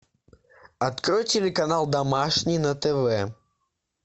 открой телеканал домашний на тв